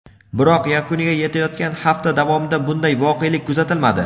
biroq yakuniga yetayotgan hafta davomida bunday voqelik kuzatilmadi.